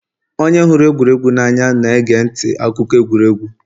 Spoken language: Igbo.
onye hụrụ egwuregwu n'anya na-ege ntị akụkọ egwuregwu